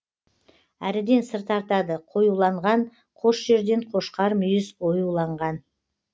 әріден сыр тартады қоюланған қос жерден қошқармүйіз оюланған